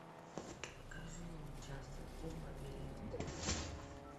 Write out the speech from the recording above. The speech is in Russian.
покажи мне часть один лабиринт